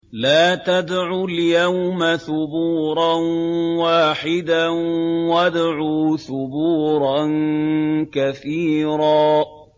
لَّا تَدْعُوا الْيَوْمَ ثُبُورًا وَاحِدًا وَادْعُوا ثُبُورًا كَثِيرًا